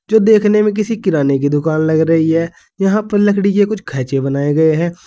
जो देखने में किसी किराने की दुकान लग रही है यहां पर लकड़ी के कुछ खांचे बनाए गए हैं।